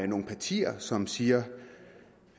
nogle partier som siger